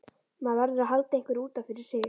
Maður verður að halda einhverju út af fyrir sig.